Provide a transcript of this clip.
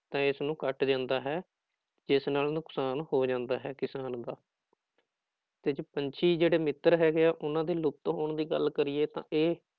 ਤਾਂ ਇਸਨੂੰ ਕੱਟ ਦਿੰਦਾ ਹੈ ਜਿਸ ਨਾਲ ਨੁਕਸਾਨ ਹੋ ਜਾਂਦਾ ਹੈ ਕਿਸਾਨ ਦਾ ਤੇ ਜੀ ਪੰਛੀ ਜਿਹੜੇ ਮਿੱਤਰ ਹੈਗੇ ਆ ਉਹਨਾਂ ਦੇ ਲੁੱਪਤ ਹੋਣ ਦੀ ਗੱਲ ਕਰੀਏ ਤਾਂ ਇਹ